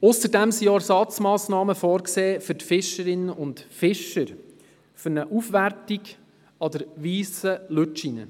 Ausserdem sind auch Ersatzmassnahmen für die Fischerinnen und Fischer vorgesehen für eine Aufwertung an der Weissen Lütschine.